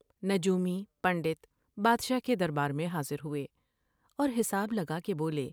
نجومی ، پنڈت بادشاہ کے دربار میں حاضر ہوۓ اور حساب لگا کے بولے ۔